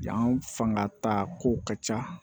Yan fanga ta ko ka ca